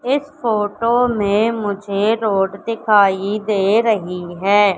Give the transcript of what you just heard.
इस फोटो में मुझे रोड दिखाई दे रही हैं।